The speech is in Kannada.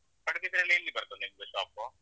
ಪಡುಬಿದ್ರೆ ಅಲ್ಲಿ ಎಲ್ಲಿ ಬರ್ತದೆ ನಿಮ್ದು shop .